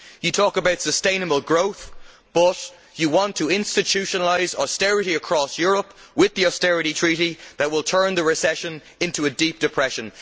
You talk about sustainable growth, but you want to institutionalise austerity across Europe with the Austerity Treaty', which will turn the recession into a deep depression.